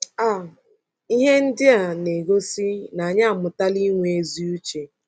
um Ihe ndị a um na-egosi na anyị amụtala inwe ezi uche.